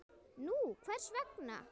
Nú, hvers vegna?